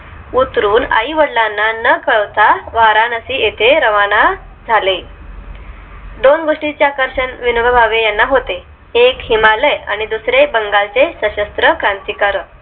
उतरून आई वडिलांना न कळवता वाराणसी येथे रवाना झाले. दोन गोष्टीच आकर्षण विनोबा भावे यांना होते. एक हिमालय आणि दुसरे बंगाल चे सशस्त्र क्रांतिकारक